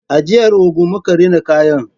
A jihar Ogun muka rina kayan